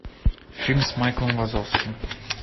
фильм с майклом вазовским